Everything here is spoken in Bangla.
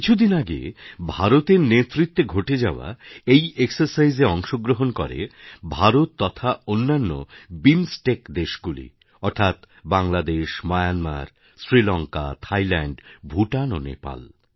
কিছুদিন আগে ভারতের নেতৃত্বে ঘটে যাওয়া এই এক্সারসাইজ এ অংশগ্রহণ করে ভারত তথা অন্যান্য বিমস্টেক দেশগুলি অর্থাৎ বাংলাদেশ মায়ানমার শ্রীলঙ্কা থাইল্যাণ্ড ভুটান ও নেপাল